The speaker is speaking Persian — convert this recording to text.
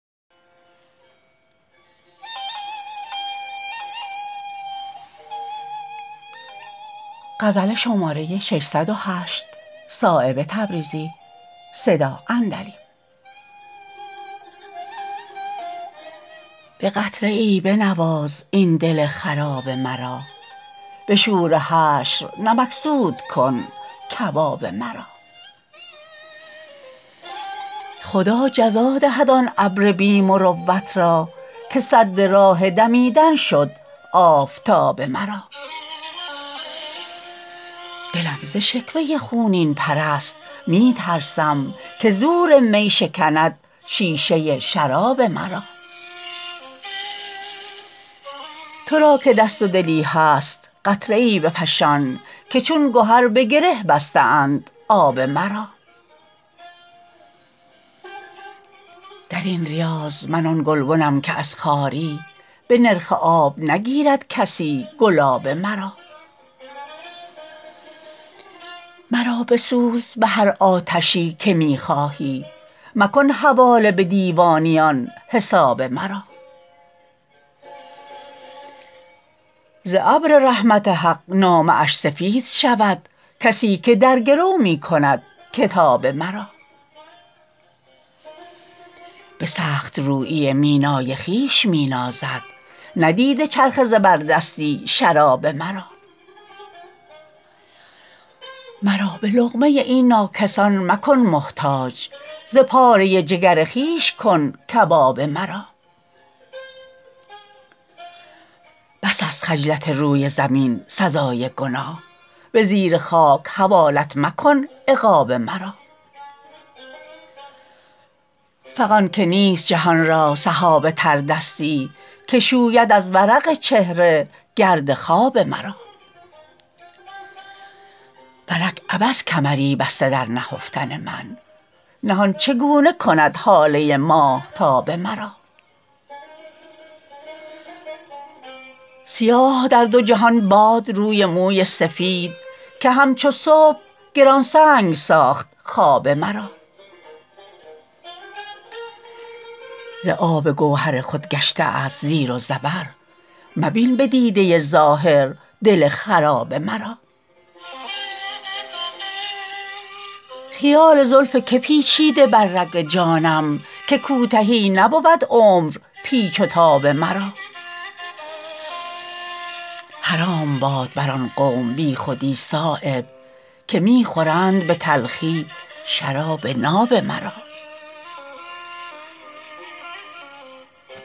به خنده ای بنواز این دل خراب مرا به شور حشر نمکسود کن کباب مرا خدا جزا دهد آن ابر بی مروت را که سد راه دمیدن شد آفتاب مرا دلم ز شکوه خونین پرست می ترسم که زور می شکند شیشه شراب مرا ترا که دست و دلی هست قطره ای بفشان که چون گهر به گره بسته اند آب مرا درین ریاض من آن گلبنم که از خواری به نرخ آب نگیرد کسی گلاب مرا مرا بسوز به هر آتشی که می خواهی مکن حواله به دیوانیان حساب مرا ز ابر رحمت حق نامه اش سفید شود کسی که در گرو می کند کتاب مرا به سخت رویی مینای خویش می نازد ندیده چرخ زبردستی شراب مرا مرا به لقمه این ناکسان مکن محتاج ز پاره جگر خویش کن کباب مرا بس است خجلت روی زمین سزای گناه به زیر خاک حوالت مکن عقاب مرا فغان که نیست جهان را سحاب تردستی که شوید از ورق چهره گرد خواب مرا فلک عبث کمری بسته در نهفتن من نهان چگونه کند هاله ماهتاب مرا سیاه در دو جهان باد روی موی سفید که همچو صبح گرانسنگ ساخت خواب مرا ز آب گوهر خود گشته است زیر و زبر مبین به دیده ظاهر دل خراب مرا خیال زلف که پیچیده بر رگ جانم که کوتهی نبود عمر پیچ و تاب مرا حرام باد بر آن قوم بی خودی صایب که می خورند به تلخی شراب ناب مرا